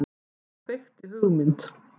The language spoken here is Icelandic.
Og kveikti hugmynd.